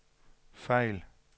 fejl